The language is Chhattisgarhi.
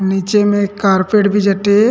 नीचे में कारपेट भी जटे हे।